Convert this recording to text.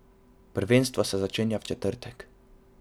Prvenstvo se začenja v četrtek.